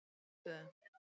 Glitstöðum